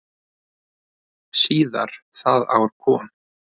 Síðar það ár kom